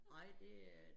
Nej det er